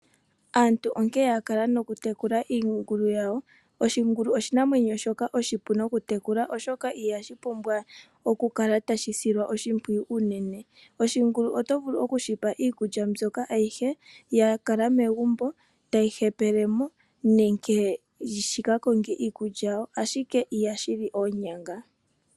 Aantu onkee yakala nokutekula iingulu yawo. Oshingulu oshinamwenyo shoka oshipu nokutekulwa oshoka i hashi pumbwa oku kala tashi silwa oshimpwiyu unene. Oshingulu oto vulu okushi pa iikulya ayihe yakala megumbo tayi hepele mo nenge shikakonge iikulya yasho ashike i hashi li oonyanga.